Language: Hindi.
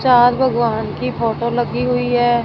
चार भगवान की फोटो लगी हुई है।